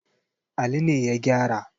Ali ne ya gyara.